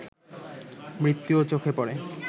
নৃত্যও চোখে পড়ে